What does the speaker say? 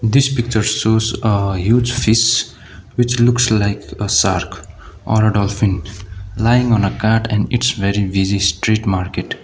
this picture shows a huge fish which looks like a shark or dolphin lying on a cart and it's very busy street market.